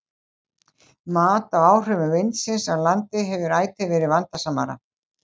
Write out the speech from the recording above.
Mat á áhrifum vindsins á landi hefur ætíð verið vandasamara.